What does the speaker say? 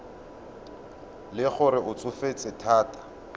le gore o tsofetse thata